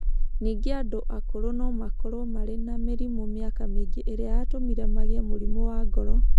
Ningĩ andũ akũrũ no makorũo marĩ na mĩrimũ mĩaka mingĩ ĩrĩa yatũmire magĩe mũrimũ wa ngoro.